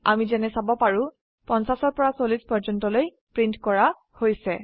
আমি যেনে চাব পাৰো 50 পৰা 40 পৰ্যন্তলৈ প্ৰীন্ট কৰা হৈছে